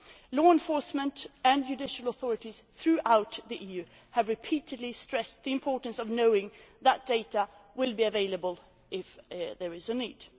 Law enforcement and judicial authorities throughout the EU have repeatedly stressed the importance of knowing that data will be available if there is a need.